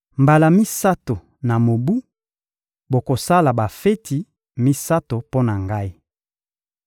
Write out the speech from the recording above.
Mbala misato na mobu, bokosala bafeti misato mpo na Ngai.